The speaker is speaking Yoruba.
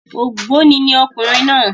Ògbóni ni ọkùnrin náà